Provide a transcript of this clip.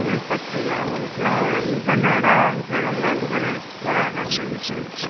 தமிழ் பசங்க அவ்வுங்கள்ளுகுள்ள இது என்னடா விஜய் romantic ஆ நடிச்சிட்டு போரறாரு அப்பிடின்னு சொல்லிட்டு.